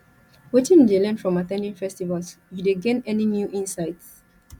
wetin you dey learn from at ten ding festivals you dey gain any new insights